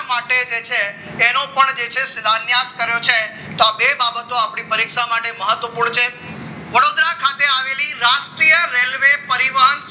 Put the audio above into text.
માટે જે છે તેને તેનો પણ જે છે સીધા નેપ કર્યો છે તો બે બાબતો પરીક્ષા માટે મહત્વપૂર્ણ છે વડોદરા ખાતે આવેલી રાષ્ટ્રીય રેલવે પરિવહન